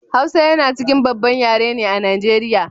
hausa yana cikin babban yare ne a nigeria